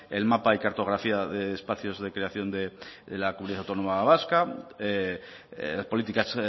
el mapa de cartografía de espacios de creación de la comunidad autónoma vasca las políticas